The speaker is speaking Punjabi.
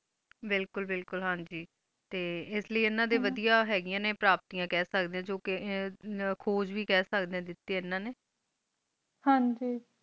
ਬਿਲਕੁਲ ਬਿਲਕੁਲ ਹਨ ਗ ਟੀ ਐਸ ਲੀਏ ਏਨਾ ਡੀ ਹਨਾ ਵਾਦ੍ਯੀਆਂ ਹੀ ਗਿਆ ਨੀ ਪ੍ਰੋਪ੍ਤਿਯਾਂ ਕਹ ਸ੍ਕ ਡੀ ਜੋ ਕੀ ਖੋਜ ਵ ਕਹ ਸਕਦੀ ਡੀ ਓਨਾ ਨੂ ਹਨ ਜੀ